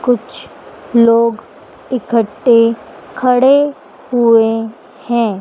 कुछ लोग इकठ्ठे खड़े हुए हैं।